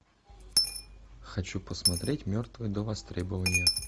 хочу посмотреть мертвые до востребования